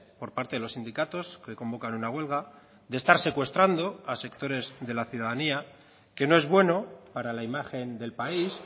por parte de los sindicatos que convocan una huelga de estar secuestrando a sectores de la ciudadanía que no es bueno para la imagen del país